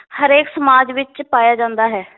ਹਰੇਕ ਸਮਾਜ ਵਿਚ ਪਾਇਆ ਜਾਂਦਾ ਹੈ।